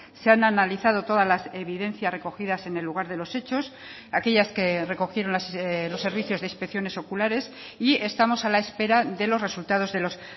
se han analizado todas las evidencias recogidas en el lugar de los hechos aquellas que recogieron los servicios de inspecciones oculares y estamos a la espera de los resultados de los